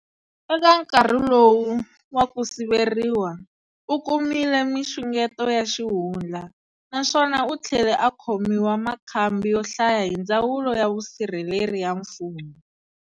Eka nkarhi lowu wa kusiveriwa, ukumile minxungeto ya xihundla, naswona uthlele a khomiwa makhambi yo hlaya hi ndzawulo ya vusirheleri ya mfumo.